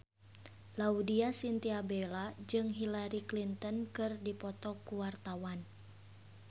Laudya Chintya Bella jeung Hillary Clinton keur dipoto ku wartawan